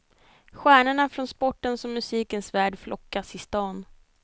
Stjärnorna från sportens och musikens värld flockas i stan.